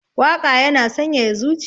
Waƙa yana sanyaya zuciya